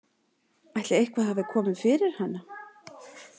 Ætli eitthvað hafi komið fyrir hana?